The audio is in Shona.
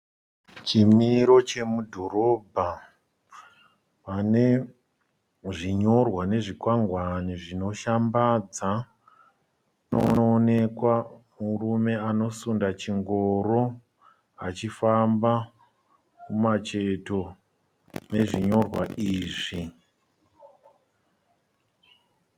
Chimiro chemudhoromba. Mune zvinyorwa nezvikwangwane zvishambadza. Kunoonekwa murume anosunda chingoro achifamba kumacheto kwezvinyorwa izvi.